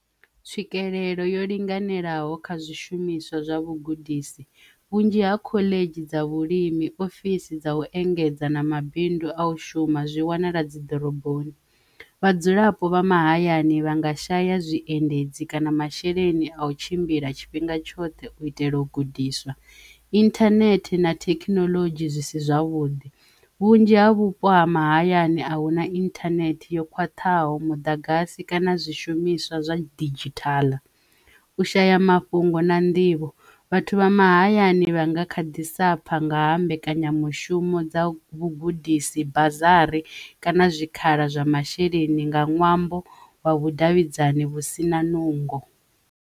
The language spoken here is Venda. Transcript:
Tswikelelo yo linganelaho kha zwishumiswa zwa vhugudisi vhunzhi ha khoḽedzhi dza vhulimi ofisi dza u engedza na mabindu a u shuma zwi wanala dzi ḓoroboni vhadzulapo vha mahayani vha nga shaya zwiendedzi kana masheleni a u tshimbila tshifhinga tshoṱhe u itela u gudiswa internet na thekhinolodzhi zwisi zwavhuḓi. Vhunzhi ha vhupo ha mahayani ahuna inthanethe yo khwaṱhaho muḓagasi kana zwishumiswa zwa didzhithala u shaya mafhungo na nḓivho vhathu vha mahayani vhanga kha ḓisa pfha nga ha mbekanyamushumo dza vhugudisi bazi harry kana zwikhala zwa masheleni nga ṅwambo wa vhudavhidzani vhu si na nungo.